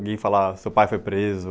Alguém falar, seu pai foi preso.